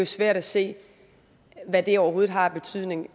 svært at se hvad det overhovedet har af betydning